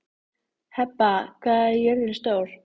Heba, hvað er jörðin stór?